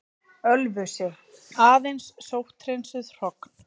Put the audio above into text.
Ölfusi, aðeins sótthreinsuð hrogn.